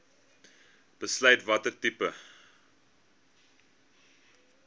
besluit watter tipe